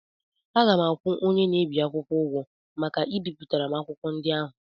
Aga m akwụ onye na-ebi akwụkwọ ụgwọ maka ibipụtara m akwụkwọ ndị ahụ.